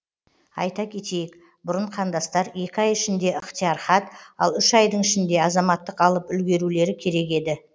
айта кетейік бұрын қандастар екі ай ішінде ықтияр хат ал үш айдың ішінде азаматтық алып үлгерулері керек еді